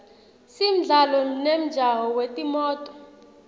simdlalo nemjaho wetimoto